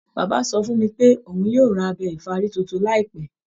Bàbá sọ fún mi pé òun yóò ra abẹ ìfárí tuntun láìpẹ́